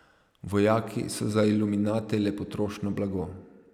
Vojaki so za iluminate le potrošno blago.